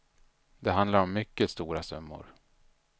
Det handlar om mycket stora summor.